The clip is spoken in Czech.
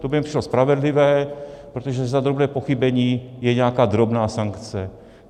To by mi přišlo spravedlivé, protože za drobné pochybení je nějaká drobná sankce.